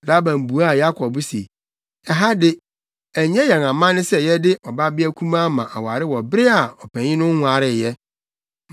Laban buaa Yakob se, “Ɛha de, ɛnyɛ yɛn amanne sɛ yɛde ɔbabea kumaa ma aware wɔ bere a ɔpanyin no nwaree ɛ.